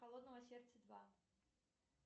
холодного сердца два